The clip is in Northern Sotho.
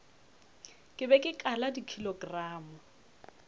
ke be ke kala dikilogramo